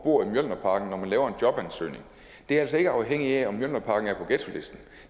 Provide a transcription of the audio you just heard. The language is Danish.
bor i mjølnerparken når man laver en jobansøgning er altså ikke afhængigt af om mjølnerparken er på ghettolisten